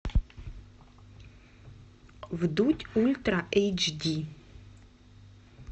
вдудь ультра эйч ди